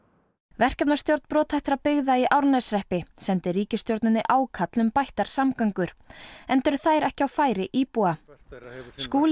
verkefnastjórn brothættra byggða í Árneshreppi sendi ríkisstjórninni ákall um bættar samgöngur enda eru þær ekki á færi íbúa Skúli